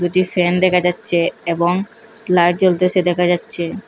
একটি ফ্যান দেখা যাচ্চে এবং লাইট জ্বলতেছে দেখা যাচ্চে।